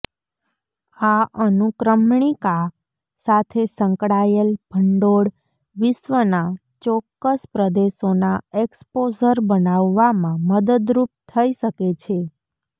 આ અનુક્રમણિકા સાથે સંકળાયેલ ભંડોળ વિશ્વના ચોક્કસ પ્રદેશોના એક્સપોઝર બનાવવામાં મદદરૂપ થઈ શકે છે